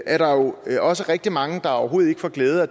er der jo også rigtig mange der overhovedet ikke får glæde af